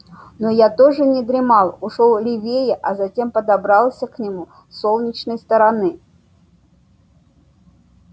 но я тоже не дремал ушёл левее а затем подобрался к нему с солнечной стороны